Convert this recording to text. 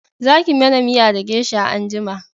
Za ki mana miya da gesha anjima!